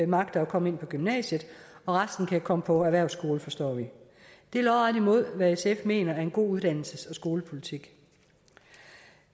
magter at komme ind på gymnasiet og resten kan komme på erhvervsskole forstår vi det er lodret imod hvad sf mener er en god uddannelses og skolepolitik